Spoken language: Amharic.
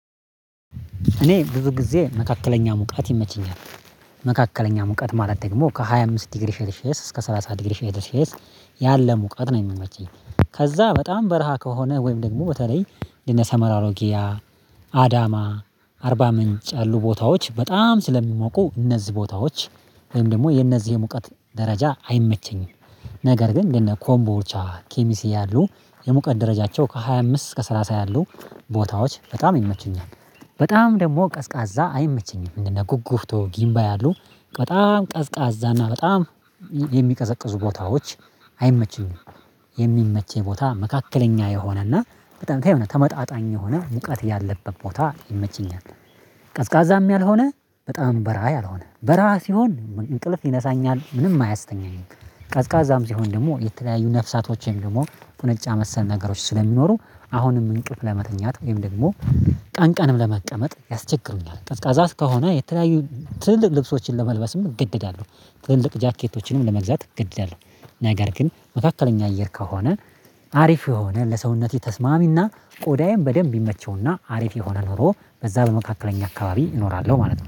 እኔ ብዙ ጊዜ መካከለኛ ሙቀት ይመቸኛል። መካከለኛ ሙቀት ማለት ደግሞ ከሃያ አምስት ዲግሪ ሴሊሼየስ እስከ ሰላሳ ዲግሪ ሴሊሼየስ ያለ ሙቀት ነው የሚመቸኝ ከዛ በጣም በረሃ ከሆነ ወይም ደግሞ በተለይ እነ ሰመራ፣ አሮጊያ፣ አዳማ አርባ ምንጭ ያሉ ቦታዎች በጣም ስለሚሞቁ እነዚህ ቦታዎች ወይም ደግሞ የእነዚህ የሙቀት ደረጃ አይመቸኝም። ነገር ግን እንደነ ኮምቦቻ፣ ኬሚሴ ያሉ የሙቀት ደረጃቸው ከሃያ አምስት እስከ ሰላሳ ያሉ ቦታዎች በጣም ይመቹኛል። በጣም ደግሞ ቀዝቃዛ አይመቸኝም እንደ ኩጉፍቱ፣ ግምባይ ያሉ በጣም ቀዝቃዛና በጣም የሚቀዘቅዙ ቦታዎች አይመቹኝም። የሚመቸኝ ቦታ መካከለኛ የሆነና በጣም ተመጣጣኝ የሆነ ሙቀት ያለበት ቦታ ይመቸኛል። ቀዝቃዛም ያልሆነ በጣም በረሃ ያልሆነ በረሃ ሲሆን እንቅልፍ ይነሳኛል ምንም አያስተኛም ቀዝቃዛም ሲሆን ደግሞ የተለያዩ ነፍሳቶችን ደግሞ ቁንጫ መሰል ነገሮች ስለሚኖሩ አሁንም እንቅልፍ ለመተኛት ወይም ደግሞ ቀን ቀንም ለመቀመጥ ያስቸግሩኛል ቀዝቃዛስ ከሆነ የተለያዩ ትልልቅ ልብሶችን ለመልበስም እገደዳለሁ፣ ትልልቅ ጃኬቶችንም ለመግዛት እገደዳለሁ ነገር ግን መካከለኛ አየር ከሆነ አሪፍ የሆነ ለሰውነቴ ተስማሚና ቆዳዬን በደንብ ይመቸውና አሪፍ የሆነ ኑሮ በዛ በመካከለኛ አካባቢ እኖራለሁ ማለት ነው።